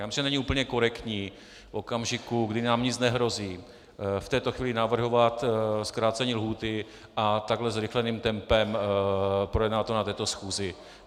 Já myslím, že není úplně korektní v okamžiku, kdy nám nic nehrozí, v této chvíli navrhovat zkrácení lhůty a takhle zrychleným tempem projednat to na této schůzi.